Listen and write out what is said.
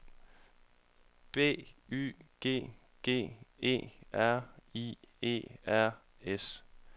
B Y G G E R I E R S